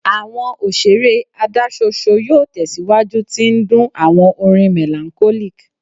Awọn oṣere adaṣoṣo yoo tẹsiwaju ti ndun awọn orin melancholic